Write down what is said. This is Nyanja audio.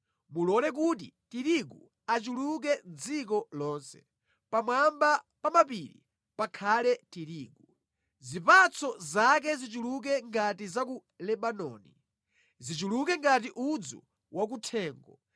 Mulole kuti tirigu achuluke mʼdziko lonse; pamwamba pa mapiri pakhale tirigu. Zipatso zake zichuluke ngati za ku Lebanoni; zichuluke ngati udzu wakuthengo